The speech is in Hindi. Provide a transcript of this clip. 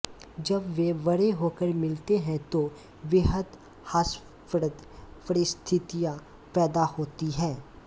जब वे बड़े होकर मिलते हैं तो बेहद हास्यप्रद परिस्थितियां पैदा होती हैं